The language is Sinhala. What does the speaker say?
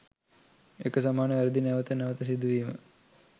එක සමාන වැරදි නැවත නැවත සිදුවීම